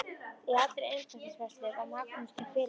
Í allri embættisfærslu var Magnús til fyrirmyndar.